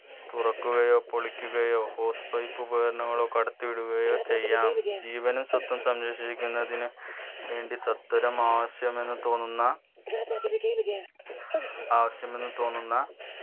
തുറക്കുകയോ പൊളിക്കുകയോ hose pipe ഉപകാരങ്ങളോ കടത്തിവിടുകയോ ചെയ്യാം ജീവനും സ്വത്തും സംരക്ഷിക്കുന്നതിന് വേണ്ടി സ്വത്തരമാവശ്യമെന്നു തോന്നുന്ന ആവശ്യമെന്ന് തോന്നുന്ന